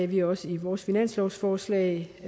vi også i vores finanslovsforslag